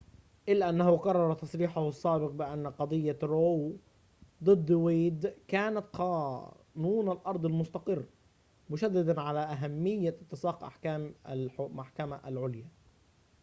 إلا أنه كرر تصريحه السابق بأن قضية رو ضد ويد كانت قانون الأرض المستقر مشددًا على أهمية اتساق أحكام المحكمة العليا